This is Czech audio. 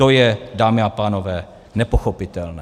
To je, dámy a pánové, nepochopitelné.